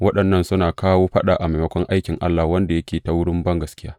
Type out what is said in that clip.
Waɗannan suna kawo faɗa a maimakon aikin Allah wanda yake ta wurin bangaskiya.